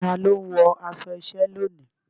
Ta ló ń wọ aṣọ iṣẹ́ lónìí?